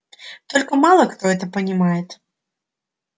только мало кто это понимает